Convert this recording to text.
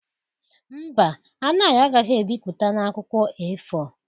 Mba, Anayo agaghị ebipụta na akwụkwọ A4